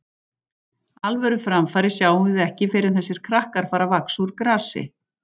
Alvöru framfarir sjáum við ekki fyrr en þessir krakkar fara að vaxa úr grasi.